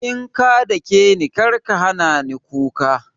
In ka dakeni karka hanani kuka